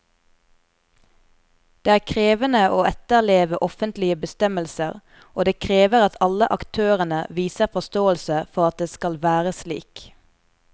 Det er krevende å etterleve offentlige bestemmelser, og det krever at alle aktørene viser forståelse for at det skal være slik.